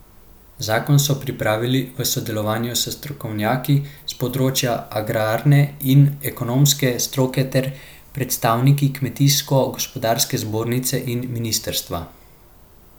Zakon so pripravili v sodelovanju s strokovnjaki s področja agrarne in ekonomske stroke ter predstavniki kmetijsko gospodarske zbornice in ministrstva.